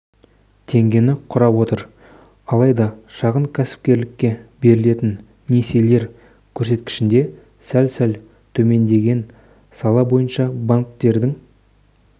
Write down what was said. теңгені құрап отыр алайда шағын кәсіпкерлікке берілетін несиелер көрсеткішінде сәл-сәл төмендеген сала бойынша банктердің